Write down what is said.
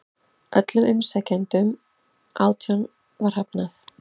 Öllum umsækjendunum átján var hafnað